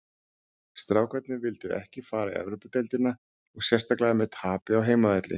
Strákarnir vildu ekki fara í Evrópudeildina og sérstaklega með tapi á heimavelli.